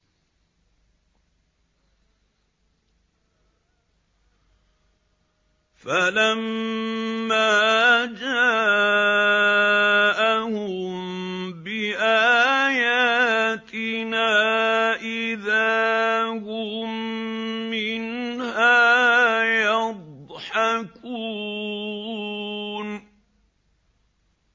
فَلَمَّا جَاءَهُم بِآيَاتِنَا إِذَا هُم مِّنْهَا يَضْحَكُونَ